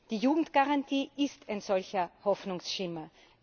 Die Jugendgarantie ist ein solcher Hoffnungsschimmer.